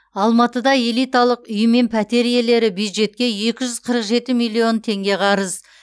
алматыда элиталық үй мен пәтер иелері бюджетке екі жүз қырық жеті миллион теңге қарыз